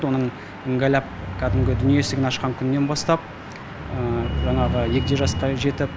оның іңгәліп кәдімгі дүние есігін ашқан күнінен бастап жаңағы ер жасқа жетіп